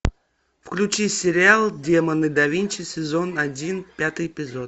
включи сериал демоны да винчи сезон один пятый эпизод